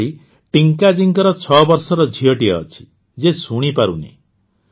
ସେହିଭଳି ଟିଙ୍କାଜୀଙ୍କ ୬ ବର୍ଷର ଝିଅଟିଏ ଅଛି ଯିଏ ଶୁଣିପାରୁ ନାହିଁ